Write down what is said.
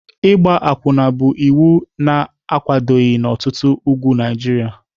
Ịgba akwụna bụ iwu na-akwadoghị n'ọtụtụ ugwu Naịjirịa.